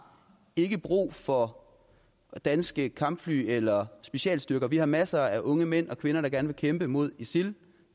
ikke brug for danske kampfly eller specialstyrker vi har masser af unge mænd og kvinder der gerne vil kæmpe mod isil